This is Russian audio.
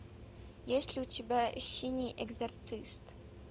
есть ли у тебя синий экзорцист